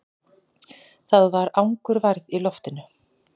Það var angurværð í loftinu.